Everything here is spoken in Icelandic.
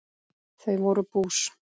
Þau voru bús.